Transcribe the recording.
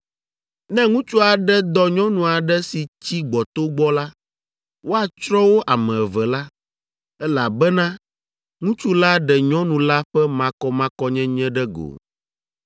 “ ‘Ne ŋutsu aɖe dɔ nyɔnu aɖe si tsi gbɔto gbɔ la, woatsrɔ̃ wo ame eve la, elabena ŋutsu la ɖe nyɔnu la ƒe makɔmakɔnyenye ɖe go.